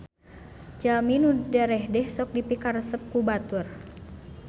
Jalmi nu darehdeh sok dipikaresep ku batur